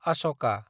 आशका